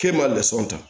K'e m'a lasɔm ta